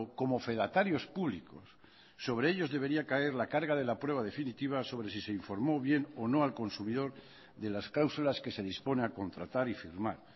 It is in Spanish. como fedatarios públicos sobre ellos debería caer la carga de la prueba definitiva sobre si se informó bien o no al consumidor de las cláusulas que se dispone a contratar y firmar